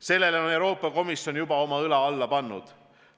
Sellele on Euroopa Komisjon juba oma õla alla pannud.